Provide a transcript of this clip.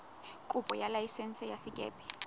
kopo ya laesense ya sekepe